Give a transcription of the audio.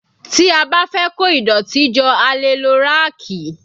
Tí a bá fẹ́ kó ìdọ̀tí jọ a lè lo ráàkì